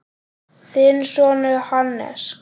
Þinn sonur, Hannes.